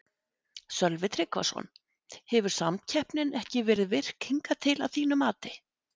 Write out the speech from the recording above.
Sölvi Tryggvason: Hefur samkeppnin ekki verið virk hingað til að þínu mati?